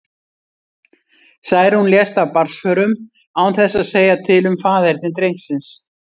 Særún lést af barnsförum, án þess að segja til um faðerni drengsins.